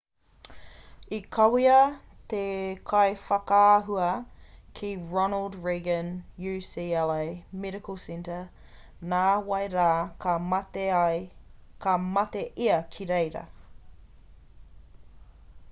i kawea te kaiwhakaahua ki ronald reagan ucla medical center nā wai rā ka mate ia ki reira